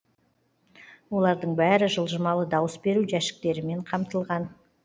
олардың бәрі жылжымалы дауыс беру жәшіктерімен қамтылған